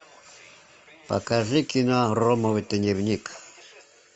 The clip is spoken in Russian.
покажи кино ромовый дневник